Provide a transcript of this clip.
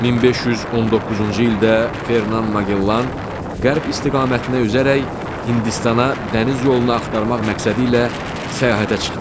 1519-cu ildə Fernand Magellan qərb istiqamətinə üzərək Hindistana dəniz yolunu axtarmaq məqsədi ilə səyahətə çıxır.